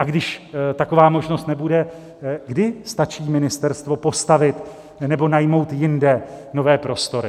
A když taková možnost nebude, kdy stačí ministerstvo postavit nebo najmout jinde nové prostory?